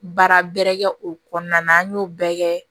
Baara bɛrɛ kɛ o kɔnɔna na an y'o bɛɛ kɛ